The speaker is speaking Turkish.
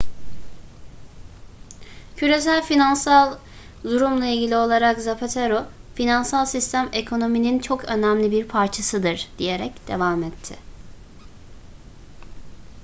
küresel finansal durumla ilgili olarak zapatero finansal sistem ekonominin çok önemli bir parçasıdır diyerek devam etti